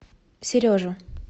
сережу